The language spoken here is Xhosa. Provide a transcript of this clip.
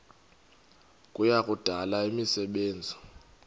kuya kudala imisebenzi